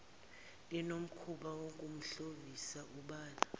linomkhuba wokumshovisa ubala